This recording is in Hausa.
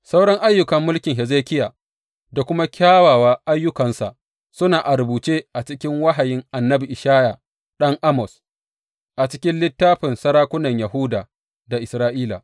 Sauran ayyukan mulkin Hezekiya da kuma kyawawa ayyukansa, suna a rubuce a cikin wahayin annabi Ishaya ɗan Amoz, a cikin littafin sarakunan Yahuda da Isra’ila.